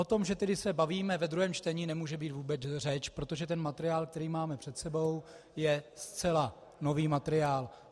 O tom, že se tedy bavíme ve druhém čtení, nemůže být vůbec řeč, protože ten materiál, který máme před sebou, je zcela nový materiál.